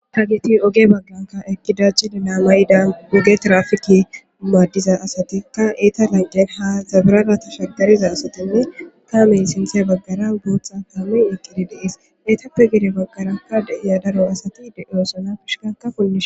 Ta geti oge bagganka ekidajcide naamayda oge trafiki maaddiza asatikka eeta lanqe ha zabirarata shagariza asatinne taameyn sintiye baggara botha taamen eqqidi deees eetappe gede baggarakka deiya daro asati de'osana pishikaka punnishin